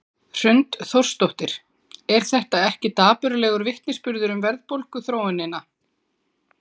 Hrund Þórsdóttir: Er þetta ekki dapurlegur vitnisburður um verðbólguþróunina?